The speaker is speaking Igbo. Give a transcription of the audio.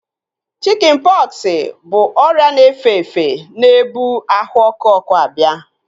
Chikin pọksi bụ ọrịa na-efe efe na-ebu ahụ ọkụ ọkụ abịa